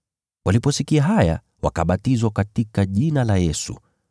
Waliposikia haya, wakabatizwa katika jina la Bwana Yesu.